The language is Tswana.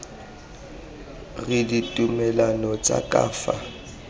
ke ditumalano tsa ka fa